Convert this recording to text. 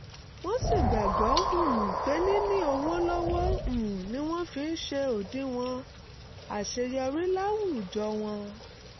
wọ́n sì gbàgbọ́ um pé níní owó lọ́wọ́ um ni wọ́n fi ń ṣe òdiwọ̀n àṣeyọrí láwùjọ wọn